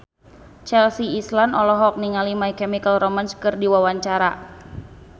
Chelsea Islan olohok ningali My Chemical Romance keur diwawancara